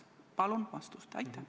Palun vastust!